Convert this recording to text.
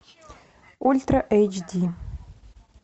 ультра эйч ди